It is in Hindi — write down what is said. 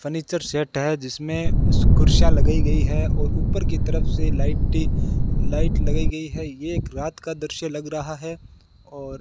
फर्नीचर सेट है जिसमें कुर्सीया लगाई गई है और ऊपर की तरफ से लाइट ही लाइट लगाई गई है यह एक रात का दृश्य लग रहा है और